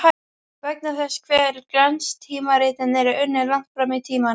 Vegna þess hve glanstímaritin eru unnin langt fram í tímann.